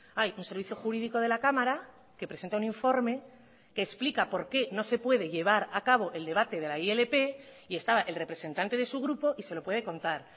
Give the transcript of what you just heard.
hay un servicio jurídico de la cámara que presenta un informe que explica por qué no se puede llevar a cabo el debate de la ilp y estaba el representante de su grupo y se lo puede contar